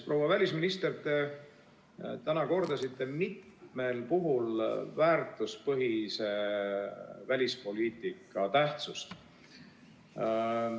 Proua välisminister, te täna kordasite mitmel puhul väärtuspõhise välispoliitika tähtsust.